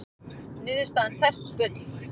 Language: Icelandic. Niðurstaðan tært bull